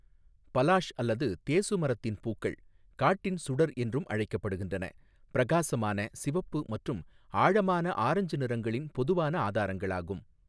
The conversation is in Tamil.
பலாஷ் அல்லது தேசு மரத்தின் பூக்கள், காட்டின் சுடர் என்றும் அழைக்கப்படுகின்றன, பிரகாசமான சிவப்பு மற்றும் ஆழமான ஆரஞ்சு நிறங்களின் பொதுவான ஆதாரங்களாகும்.